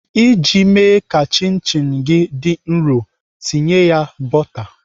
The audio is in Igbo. Iji mee ka chin chin gị dị nrọ, tinye ya bọta.